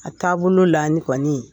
A taabolo la ni kɔɔni